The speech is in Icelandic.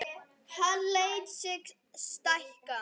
Hann lét sig stækka.